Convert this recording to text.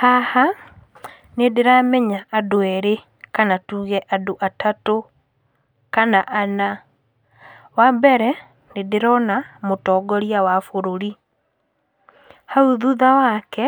Haha, nĩ ndĩramenya andũ erĩ kana tuge andũ atatũ, kana ana, wa mbere nĩ ndĩrona mũtongoria wa bũrũri, hau thutha wake,